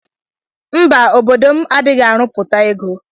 Mba obodo m adighi arụputa ego.